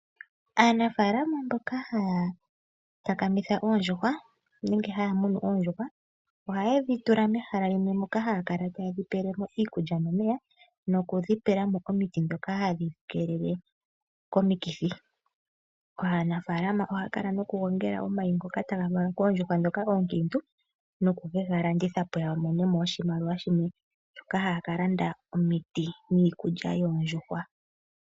Aanafalama mboka haya takamitha oondjuhwa nenge haya munu oondjuhwa, ohayedhi tula mehala moka hayedhi pele mo iikulya nomeya, nokudhi pela mo omiti ndhoka tadhi keelele omikithi. Aanafalama ohayakala nokugongela omayi ngoka taga valwa koondjuhwa ndhoka oonkiintu nokugalanditha opo yamone mo oshimaliwa shoka hayakalanda omiti niikulya yoondjuhwa.